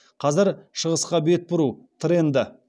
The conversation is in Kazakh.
қазір шығысқа бет бұру тренді